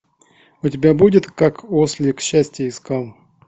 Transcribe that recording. у тебя будет как ослик счастье искал